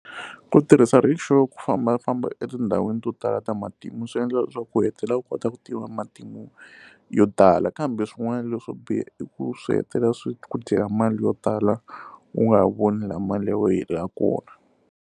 Ku tirhisa Rikshow ku fambafamba etindhawini to tala ta matimu swi endla leswaku ku hetelela u kota ku tiva matimu yo tala kambe swin'wana leswo biha i ku swi hetelela swi ku dyela mali yo tala u nga ha voni laha mali ya wena hi helelaka kona.